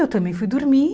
Eu também fui dormir.